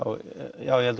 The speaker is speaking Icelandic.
já ég held